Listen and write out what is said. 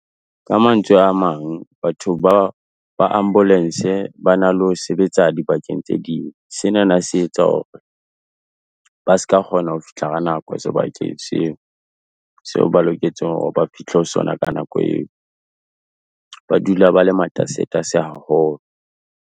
Ka mantswe a mang, batho ba ambulance ba na le ho sebetsa dibakeng tse ding, senana se etsa hore ba ska kgona ho fihla ka nako sebakeng seo, seo ba loketseng hore ba fihle ho sona ka nako eo, ba dula ba le matasetase haholo.